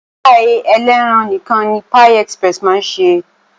Páì elẹ́ran nìkan ni Pie express máa ń ṣe